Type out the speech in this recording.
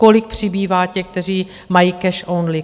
Kolik přibývá těch, kteří mají cash only?